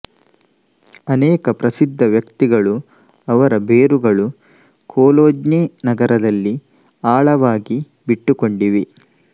ಅನೇಕ ಪ್ರಸಿದ್ಧ ವ್ಯಕ್ತಿಗಳು ಅವರ ಬೇರುಗಳು ಕೊಲೋಜ್ಞೆ ನಗರದಲ್ಲಿ ಆಳವಾಗಿ ಬಿಟ್ಟುಕೊಂಡಿವೆ